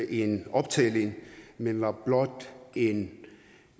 i en optælling men var blot en